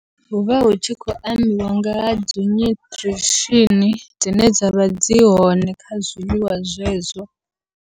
Huvha hu tshi khou ambiwa ngaha dzi nyuṱirishini, dzine dzavha dzi hone kha zwiḽiwa zwezwo.